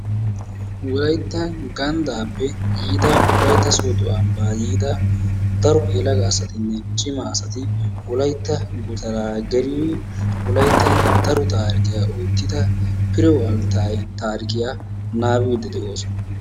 Wolayttan ganddappe yiida wolaytta soodo ambbaa yiida daro yelagaa asatinne cima asati wolaytta gutara geli wolaytta daro taarikkiya oottida Firew Altaye taarikiya naabiidi de'oosona.